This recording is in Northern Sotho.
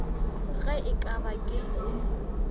ge e ka ba ke